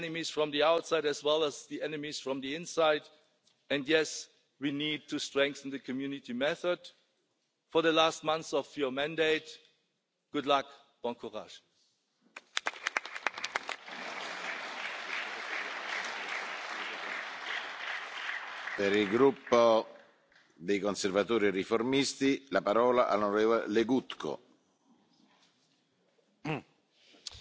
I mean, come on, there is some relation between cause and effect. It's not the fact that there are so many people who have been antagonised, made angry, irritated, marginalised, bullied and rejected. The number is so high that you cannot neglect it